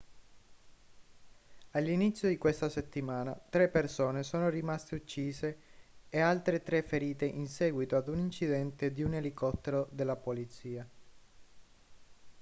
all'inizio di questa settimana tre persone sono rimaste uccise e altre tre ferite in seguito ad un incidente di un elicottero della polizia